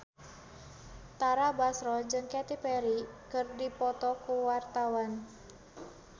Tara Basro jeung Katy Perry keur dipoto ku wartawan